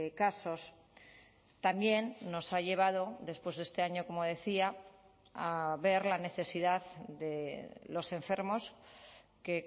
casos también nos ha llevado después de este año como decía a ver la necesidad de los enfermos que